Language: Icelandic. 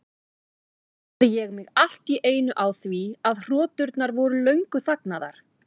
Þá áttaði ég mig allt í einu á því að hroturnar voru löngu þagnaðar.